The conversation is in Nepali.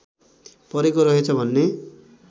परेको रहेछ भन्ने